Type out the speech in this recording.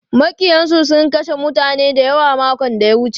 Maƙiyansu sun kashe mutane dayawa makon da ya wuce.